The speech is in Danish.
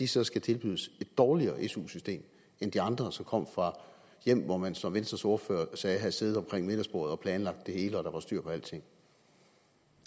så skal tilbydes et dårligere su system end de andre som kommer fra hjem hvor man som venstres ordfører sagde havde siddet omkring middagsbordet og planlagt det hele og hvor der var styr på alting